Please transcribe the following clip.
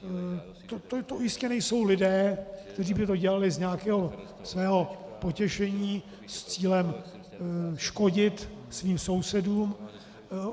To jistě nejsou lidé, kteří by to dělali z nějakého svého potěšení s cílem škodit svým sousedům.